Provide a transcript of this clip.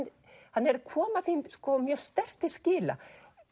hann er að koma því mjög sterkt til skila